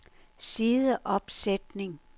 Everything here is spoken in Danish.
sideopsætning